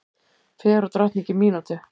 Fegurðardrottning í mínútu